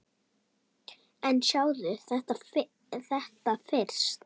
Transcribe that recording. En sjáðu þetta fyrst!